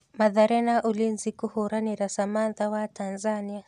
Mathare na Ulinzi kũhũranĩra Samantha wa Tanzania.